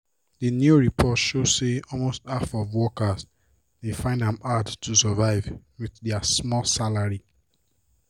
d new report show say almost half of workers dey find am hard to survive with dia small salary.